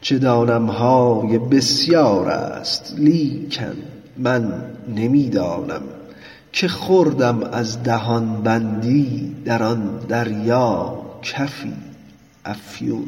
چه دانم های بسیار است لیکن من نمی دانم که خوردم از دهان بندی در آن دریا کفی افیون